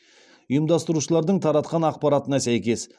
ұйымдастырушылардың таратқан ақпаратына сәйкес